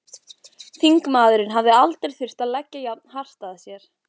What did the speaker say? Þingmaðurinn hafði aldrei þurft að leggja jafn hart að sér.